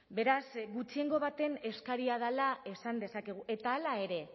beraz gutxiengo baten eskaria dela esan dezakegu eta hala ere